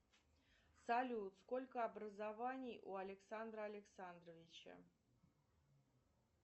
салют сколько образований у александра александровича